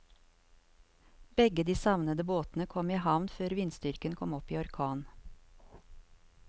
Begge de savnede båtene kom i havn før vindstyrken kom opp i orkan.